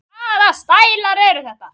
Hvaða stælar eru þetta?